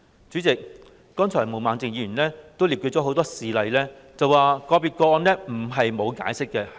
主席，剛才毛孟靜議員也列舉了很多事例，說明其他國家對個別個案並非沒有解釋。